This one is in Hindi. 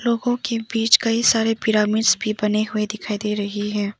लोगों के बीच कई सारे पिरामिड्स भी बनें हुए दिखाई दे रहे हैं।